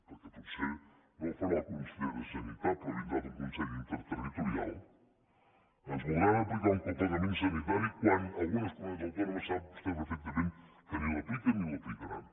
perquè potser no ho farà el conseller de sanitat però vindrà d’un consell interterritorial ens voldran aplicar un copagament sanitari quan algunes comunitats autònomes sap vostè perfectament que ni l’apliquen ni l’aplicaran